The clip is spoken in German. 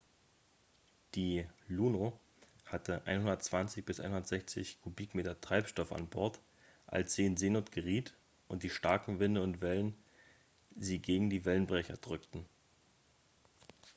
"die "luno" hatte 120-160 kubikmeter treibstoff an bord als sie in seenot geriet und die starken winde und wellen sie gegen die wellenbrecher drückten.